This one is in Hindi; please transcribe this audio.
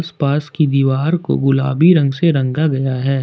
पास की दीवार को गुलाबी रंग से रंगा गया है।